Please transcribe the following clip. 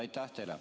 Aitäh teile!